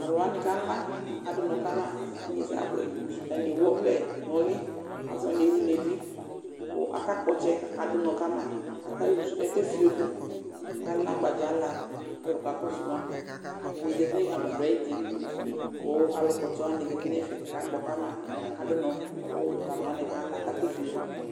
Tʋ alʋ wanɩ kala, akadʋ ɔnɔ ka ma kʋ inyesɛ abʋɛ Atanɩ ewu ɔvlɛ nʋ ʋlɩ, asɩ wanɩ ewu nʋ evi kʋ akakpɔ ɔtsɛ kʋ akadʋ ʋnɔ ka ma aka uzu kʋ akefio dʋ kʋ akala agbadzala kʋ alʋ kakɔsʋ ma Ɛdɩnɩ zati nʋ agbadɔ ayuti kʋ alʋkpɔ ɔtsɛ wanɩ zati nʋ ɛfɛ kʋ akakpɔ ka ma kʋ akadʋ ʋnɔ kʋ tʋ alʋ wanɩ kala kʋ akefio dʋ